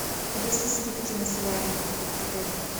есть ли скидки на солярий в отеле